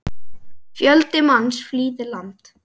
Fjöldi manns flýði land.